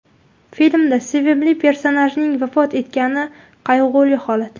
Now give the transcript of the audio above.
Filmda sevimli personajingiz vafot etgani qayg‘uli holat.